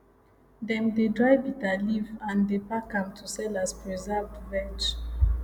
dem dey dry bitterleaf and dey pack am to sell as preserved veg